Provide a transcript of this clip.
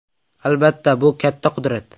Albatta, bu katta qudrat.